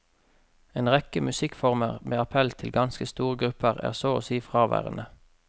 En rekke musikkformer med appell til ganske store grupper er så å si fraværende.